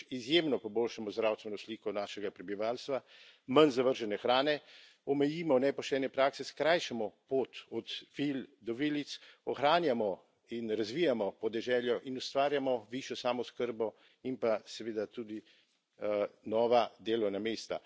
Prvič, izjemno poboljšamo zdravstveno sliko našega prebivalstva, manj zavržene hrane, omejimo nepoštene prakse, skrajšamo pot od vil do vilic, ohranjamo in razvijamo podeželje in ustvarjamo višjo samooskrbo in pa seveda tudi nova delovna mesta.